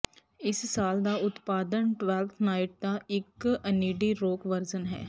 ਇਸ ਸਾਲ ਦਾ ਉਤਪਾਦਨ ਟਵੈਲਥ ਨਾਈਟ ਦਾ ਇੱਕ ਇਨਡਿੀ ਰੌਕ ਵਰਜ਼ਨ ਹੈ